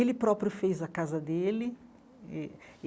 Ele próprio fez a casa dele eh e.